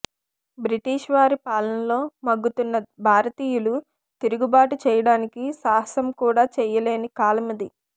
British వారి పాలనలో మగ్గుతున్న భారతీయులు తిరుగుబాటు చేయడానికి సాహసం కూడా చేయలేని కాలమది